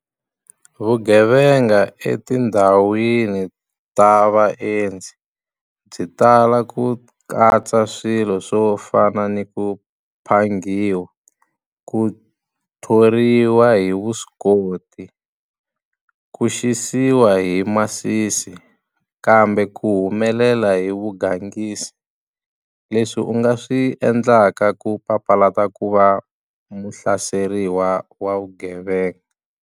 Vugevenga etindhawini ta vaendzi byi tala ku katsa swilo swo fana ni ku phangiwa, ku thoriwa hi vuswikoti, ku xisiwa hi masisi kambe ku humelela hi vugangisi leswi u nga swi endlaka ku papalata ku va muhlaseriwa wa vugevenga.